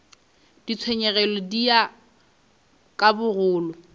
ditshenyegelo di ya ka bogolo